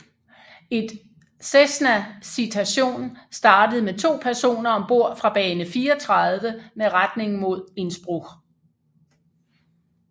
Et Cessna Citation startede med to personer om bord fra bane 34 med retning mod Innsbruck